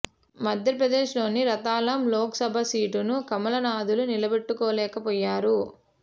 మధ్య ప్రదేశ్ లోని రత్లాం లోక్ సభ సీటును కమలనాథులు నిలబెట్టుకోలేకపోయారు